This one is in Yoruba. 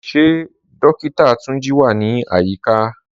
Ṣe Dókìtà Túnjí wà ní ayíkà?